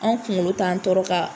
Anw kunkolo t'an tɔɔrɔ ka